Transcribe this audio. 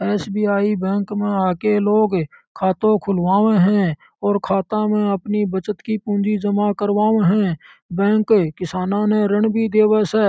SBI bank में आके लोग खाता खुलवावे है और खाता में अपनी बचत की पूंजी जमा करवावे है बैंक किसाना ने ऋण भी देवे से।